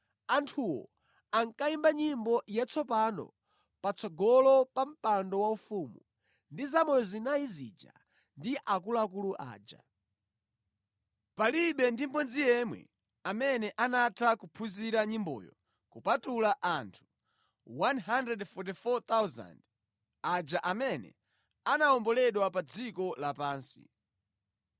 Anthuwo ankayimba nyimbo yatsopano patsogolo pa mpando waufumu ndi zamoyo zinayi zija ndi akuluakulu aja. Palibe ndi mmodzi yemwe amene anatha kuphunzira nyimboyo kupatula anthu 144,000 aja amene anawomboledwa pa dziko lapansi.